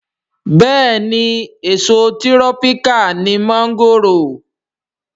Bẹ́ẹ̀ni èso tírọ́píkà ni mọ́ńgòrò